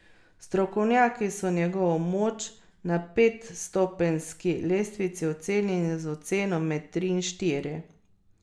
Strokovnjaki so njegovo moč na petstopenjski lestvici ocenili z oceno med tri in štiri.